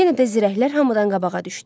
Yenə də zirəklər hamıdan qabağa düşdü.